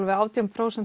átján prósent